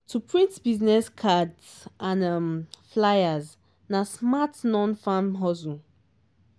to print business cards and um flyers na smart non-farm hustle.